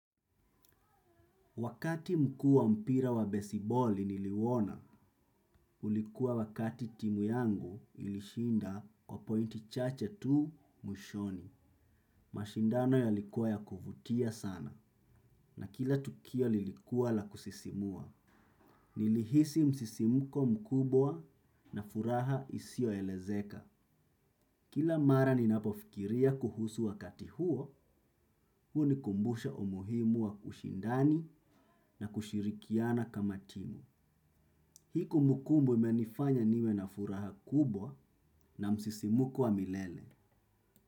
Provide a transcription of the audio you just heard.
Wakati mkuu wa mpira wa besiboli niliuona, ulikuwa wakati timu yangu ilishinda kwa pointi chache tu mwishoni. Mashindano yalikuwa ya kuvutia sana na kila tukio lilikuwa la kusisimua. Nilihisi msisimko mkubwa na furaha isio elezeka. Kila mara ninapofikiria kuhusu wakati huo, hunikumbusha umuhimu wa ushindani na kushirikiana kama timu. Hii kumbukumbu imenifanya niwe na furaha kubwa na msisimuko wa milele.